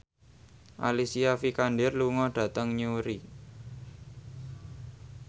Alicia Vikander lunga dhateng Newry